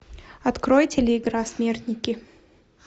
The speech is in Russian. открой телеигра смертники